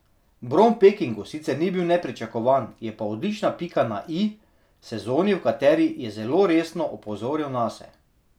Bron v Pekingu sicer ni bil nepričakovan, je pa odlična pika na i sezoni, v kateri je zelo resno opozoril nase.